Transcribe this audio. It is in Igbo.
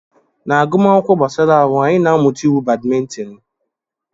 Na agụmakwụkwọ gbasara ahụ, anyị na-amụta iwu badimintin.